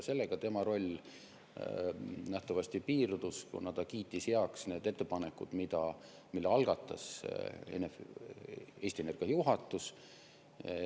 Sellega tema roll nähtavasti piirdus, kuna ta kiitis heaks need ettepanekud, mille algatas Eesti Energia juhatus.